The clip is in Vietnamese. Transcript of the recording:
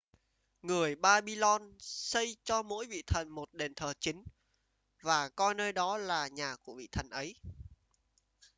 người babylon xây cho mỗi vị thần một đền thờ chính và coi nơi đó là nhà của vị thần ấy